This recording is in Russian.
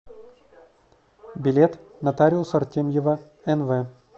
билет нотариус артемьева нв